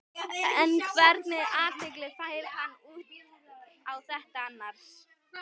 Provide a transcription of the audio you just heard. En hvernig athygli fær hann út á þetta annars?